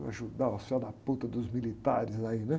Vou ajudar os dos militares aí, né?